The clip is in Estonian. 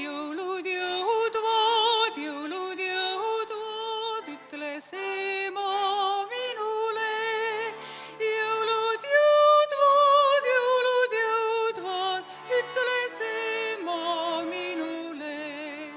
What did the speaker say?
"Jõulud jõudvad, jõulud jõudvad," ütles ema minule, "Jõulud jõudvad, jõulud jõudvad," ütles ema minule.